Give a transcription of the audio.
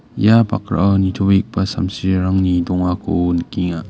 ia bakrao nitobegipa samsirangni dongako nikenga.